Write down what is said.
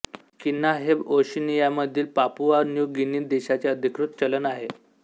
किना हे ओशनियामधील पापुआ न्यू गिनी देशाचे अधिकृत चलन आहे